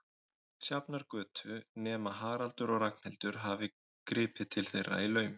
Sjafnargötu, nema Haraldur og Ragnhildur hafi gripið til þeirra í laumi.